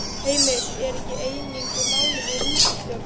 Heimir: Er ekki eining um málið í ríkisstjórn?